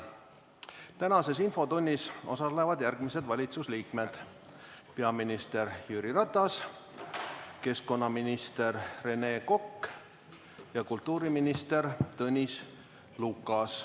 Tänases infotunnis osalevad järgmised valitsuse liikmed: peaminister Jüri Ratas, keskkonnaminister Rene Kokk ja kultuuriminister Tõnis Lukas.